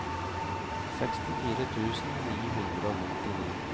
sekstifire tusen ni hundre og nittini